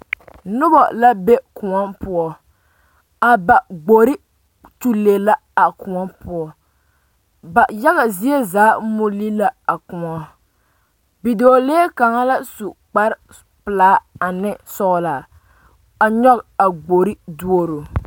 Noba la be Kóɔ poɔ a ba gbori nyulee la a kóɔ poɔ ba yaga zie zaa muli la a kóɔ bidɔɔlee kaŋa la su kpar pelaa ane sɔgelaa a nyɔge a gbori duoro